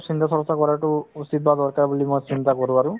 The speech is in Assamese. চিন্তা-চৰ্চা কৰাতো উচিত বা দৰকাৰ বুলি মই চিন্তা কৰো আৰু